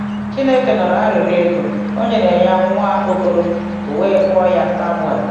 Chineke nụrụ arịrịọ Égó, o nyere ya um nwa okoro, o wee kpọọ ya um Sámuél.